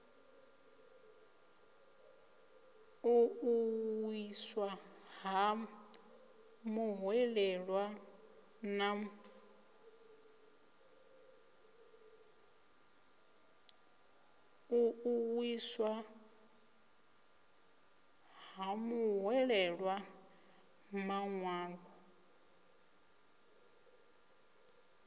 u ṱuwiswa ha muhwelelwa maṅwalo